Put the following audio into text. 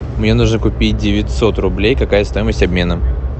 мне нужно купить девятьсот рублей какая стоимость обмена